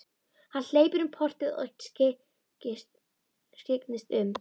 Hann hleypur um portið og skyggnist um.